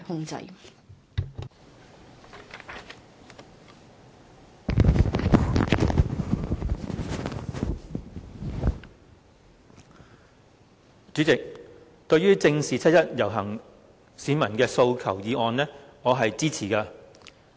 代理主席，對於"正視七一遊行市民的訴求"議案，我是支持的。